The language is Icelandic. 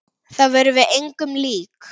Þér eruð engum lík!